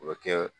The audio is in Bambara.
O bɛ kɛ